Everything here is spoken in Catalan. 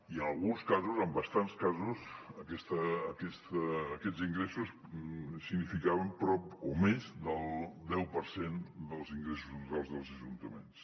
i en alguns casos en bastants casos aquests ingressos significaven prop o més del deu per cent dels ingressos totals dels ajuntaments